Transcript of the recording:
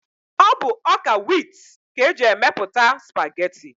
Ọ bụ ọ́kà wit ka eji emepụta spageti.